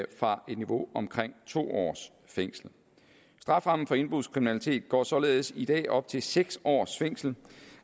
fra et niveau på omkring to års fængsel strafferammen for indbrudskriminalitet går således i dag op til seks års fængsel